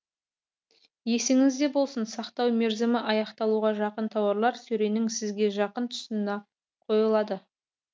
есіңізде болсын сақтау мерзімі аяқталуға жақын тауарлар сөренің сізге жақын тұсына қойылады